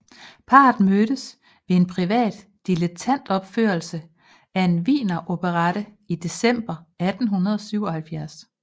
Parret mødtes ved en privat dilettantopførelse af en wieneroperette i december 1877